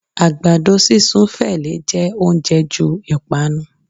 agbadọ sisún fẹ lẹ jẹ oúnjẹ ju ipanu